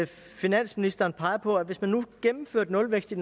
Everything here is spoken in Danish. finansministeren peger på at hvis man gennemførte nulvækst i